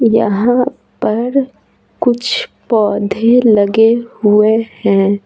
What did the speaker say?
यहाँ पर कुछ पौधे लगे हुए है।